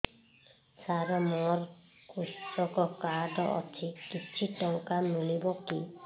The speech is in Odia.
ସାର ମୋର୍ କୃଷକ କାର୍ଡ ଅଛି କିଛି ଟଙ୍କା ମିଳିବ କି